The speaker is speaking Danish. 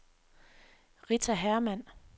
Rita Hermann